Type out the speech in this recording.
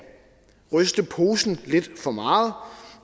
ryste posen lidt for meget